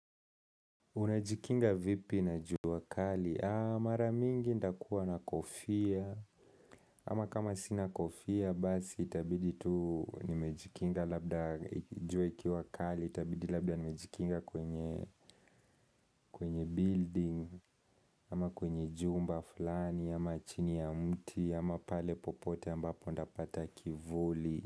Unajikinga vipi na juu kali? Mara mingi nitakuwa na kofia Ama kama sinakofia basi itabidi tu nimejikinga labda jua ikiwa kali itabidi labda nimejikinga kwenye building Ama kwenye jumba fulani Ama chini ya mti Ama pale popote ambapo nitapata kivuli.